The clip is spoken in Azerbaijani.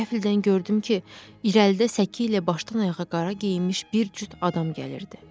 Qəfildən gördüm ki, irəlidə səki ilə başdan ayağa qara geyinmiş bir cüt adam gəlirdi.